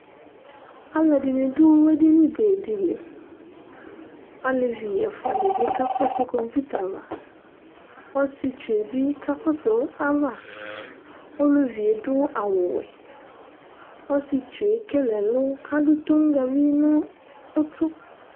Alʋɛdìní du edini be di li Alevi ɛfʋa di bi kakɔsu kɔmpuita ava Ɔsiɛtsu ye bi kakɔsu ava Ɔlevi adu awu wɛ Ɔsiɛtsu ekele ɛlu kʋ adu tonʋgavi nʋ ʋtu